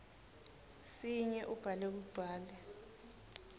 sinye ubhale kugcwale